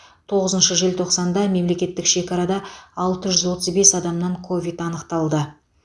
тоғызыншы желтоқсанда мемлекеттік шекарада алты жүз отыз бес адамнан ковид анықталды